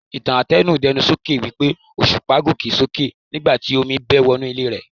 Ìtàn àtẹnu-dẹ́nu sọ wípé Òṣùpá gòkè sókè nigbati Omi bẹ́ẹ̀ wò ní ilé rẹ̀.